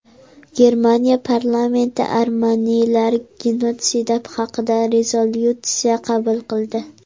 Germaniya parlamenti armanilar genotsidi haqida rezolyutsiya qabul qildi.